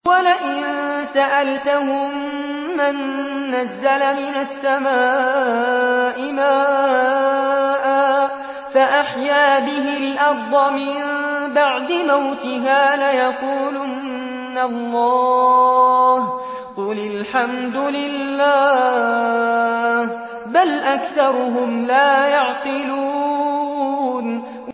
وَلَئِن سَأَلْتَهُم مَّن نَّزَّلَ مِنَ السَّمَاءِ مَاءً فَأَحْيَا بِهِ الْأَرْضَ مِن بَعْدِ مَوْتِهَا لَيَقُولُنَّ اللَّهُ ۚ قُلِ الْحَمْدُ لِلَّهِ ۚ بَلْ أَكْثَرُهُمْ لَا يَعْقِلُونَ